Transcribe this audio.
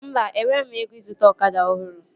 Mba, enweghị m ego ịzụta ọkada ọhụrụ